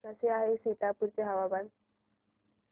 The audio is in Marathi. कसे आहे सीतापुर चे हवामान